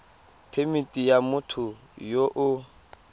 phemithi ya motho yo o